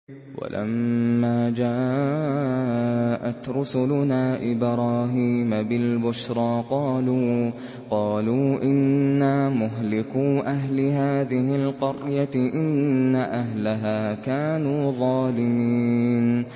وَلَمَّا جَاءَتْ رُسُلُنَا إِبْرَاهِيمَ بِالْبُشْرَىٰ قَالُوا إِنَّا مُهْلِكُو أَهْلِ هَٰذِهِ الْقَرْيَةِ ۖ إِنَّ أَهْلَهَا كَانُوا ظَالِمِينَ